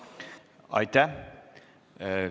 Aitäh!